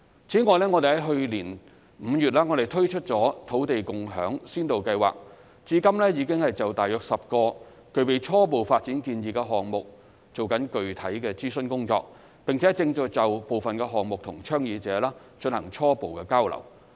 此外，我們在去年5月推出了土地共享先導計劃，至今已經就大約10個具備初步發展建議的項目進行具體的諮詢工作，並正就部分項目與倡議者進行初步交流。